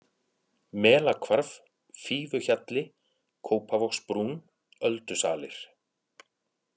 Melahvarf, Fífuhjalli, Kópavogsbrún, Öldusalir